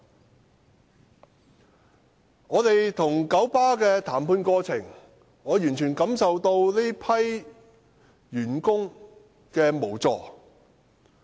在我們與九巴的談判過程中，我完全感受到這批員工的無助。